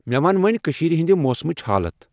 مے ون ؤنۍ کٔشیٖر ہِندِ موسمچ حالت ۔